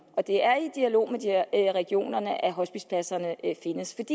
og det er i dialog med regionerne at hospicepladserne findes